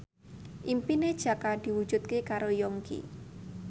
impine Jaka diwujudke karo Yongki